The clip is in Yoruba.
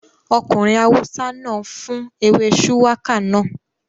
Ọkùnrin awúsá náà fún ewé shùwákà náà